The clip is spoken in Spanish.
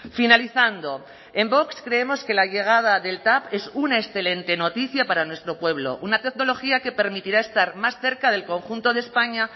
finalizando en vox creemos que la llegada del tav es una excelente noticia para nuestro pueblo una tecnología que permitirá estar más cerca del conjunto de españa